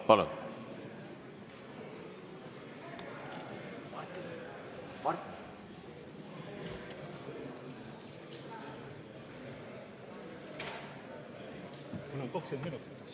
Palun!